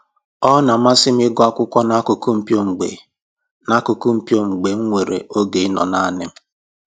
Ọ na-amasị m ịgụ akwụkwọ n'akụkụ mpio mgbe n'akụkụ mpio mgbe m nwere oge ịnọ naanị m